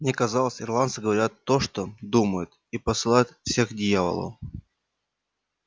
мне казалось ирландцы говорят то что думают и посылают всех к дьяволу